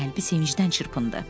Qəlbi sevincdən çırpındı.